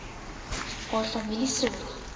haar familie sorg